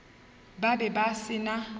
ba be ba se na